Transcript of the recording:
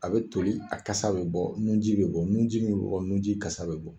A bɛ toli a kasa bɛ bɔ nun ji bɛ bɔ nun ji min bɛ bɔ nun ji kasa bɛ bɔ.